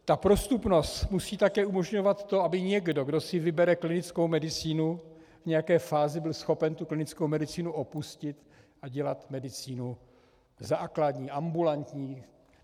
Ta prostupnost musí také umožňovat to, aby někdo, kdo si vybere klinickou medicínu, v nějaké fázi byl schopen tu klinickou medicínu opustit a dělat medicínu základní, ambulantní.